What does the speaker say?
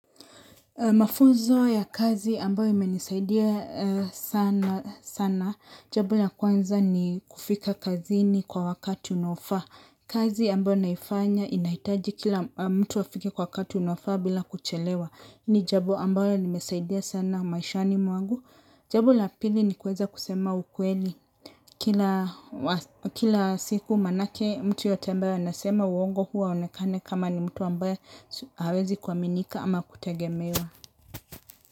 Mafuzo ya kazi ambayo imenisaidia sana sana. Jabo ya kwanza ni kufika kazini kwa wakati unaofa. Kazi ambayo naifanya inahitaji kila mtu wafike kwa wakati unafaa bila kuchelewa. Ni jabo ambayo limesaidia sana maishani mwangu. Jambo la pili ni kuweza kusema ukweli. Kila siku manake mtu yeyote ambaye anasema uongo huwa aonekane kama ni mtu ambaye hawezi kuaminika ama kutagemewa.